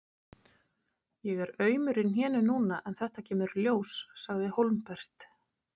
Ég er aumur í hnénu núna en þetta kemur í ljós, sagði Hólmbert.